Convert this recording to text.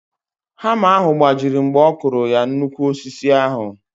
Hama ahụ gbajiri mgbe ọkụrụ ya na nnukwu osisi ahụ